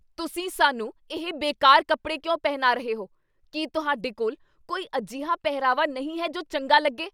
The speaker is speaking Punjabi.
ਤੁਸੀਂ ਸਾਨੂੰ ਇਹ ਬੇਕਾਰ ਕੱਪੜੇ ਕਿਉਂ ਪਹਿਨਾ ਰਹੇ ਹੋ? ਕੀ ਤੁਹਾਡੇ ਕੋਲ ਕੋਈ ਅਜਿਹਾ ਪਹਿਰਾਵਾ ਨਹੀਂ ਹੈ ਜੋ ਚੰਗਾ ਲੱਗੇ?